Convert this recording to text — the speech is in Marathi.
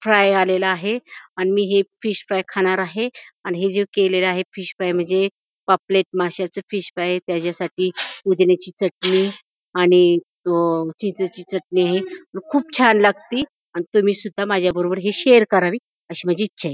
फ्राय आलेला आहे आणि मी हे फिश फ्राय खाणार आहे आणि हे जे केलेल आहे फिश फ्राय म्हणजे पापलेट माशाच फिश फ्राय त्याच्यासाठी पुदिन्याची चटणी आणि अ चिंचेची चटणी ही खूप छान लागती आणि तुम्ही सुद्धा माझ्याबरोबर हे शेअर करावी अशी माझी इच्छाय.